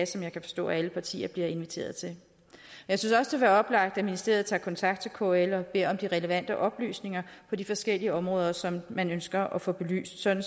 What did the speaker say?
som jeg kan forstå alle partier bliver inviteret til jeg synes også være oplagt at ministeriet tager kontakt til kl og beder om de relevante oplysninger på de forskellige områder som man ønsker at få belyst sådan